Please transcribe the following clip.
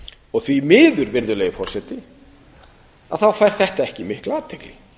málið því miður virðulegi forseti fær þetta ekki mikla athygli